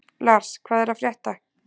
Lars, hvað er að frétta?